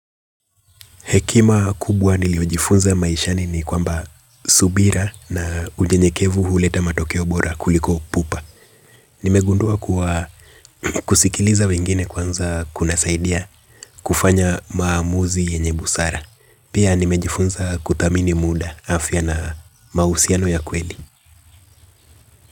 Hekima kubwa niliojifunza maishani ni kwamba subira na unyenyekevu huleta matokeo bora kuliko pupa. Nimegundua kuwa kusikiliza wengine kwanza kunasaidia kufanya maamuzi yenye busara. Pia nimejifunza kuthamini muda, afya na mahusiano ya kweli.